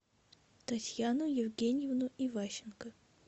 татьяну евгеньевну иващенко